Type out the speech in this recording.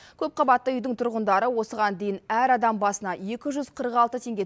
көпқабатты үйдің тұрғындары осыған дейін әр адам басына екі жүз қырық алты теңге